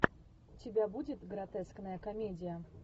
у тебя будет гротескная комедия